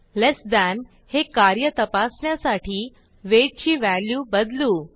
लेस than हे कार्य तपासण्यासाठी वेट ची व्हॅल्यू बदलू